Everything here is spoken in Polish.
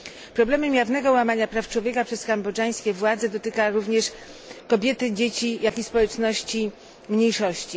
Problem jawnego łamania praw człowieka przez kambodżańskie władze dotyka również kobiety, dzieci, jak i społeczności mniejszości.